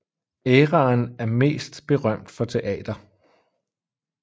Æraen er mest berømt for teater